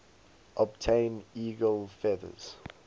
obtain eagle feathers